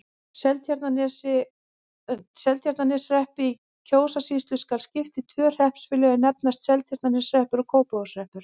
Seltjarnarneshreppi í Kjósarsýslu skal skipt í tvö hreppsfélög, er nefnast Seltjarnarneshreppur og Kópavogshreppur.